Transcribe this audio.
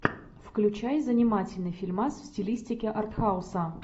включай занимательный фильмас в стилистике арт хауса